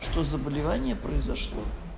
что заболевание произошло